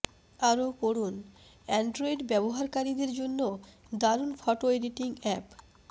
আরও পড়ুন অ্যান্ড্রয়েড ব্যবহারকারীদের জন্য দারুন ফোটো এডিটিং অ্যাপ